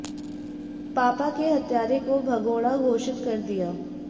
पापा के हत्यारे को भगोड़ा घोषित कर दिया